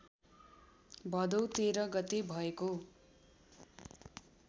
भदौ १३ गते भएको